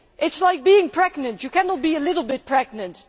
It is like being pregnant you cannot be a little bit' pregnant.